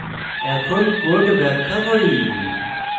এখন code ব্যাখ্যা করি